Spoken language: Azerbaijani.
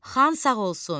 Xan sağ olsun.